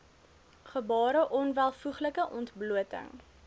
gebare onwelvoeglike ontblooting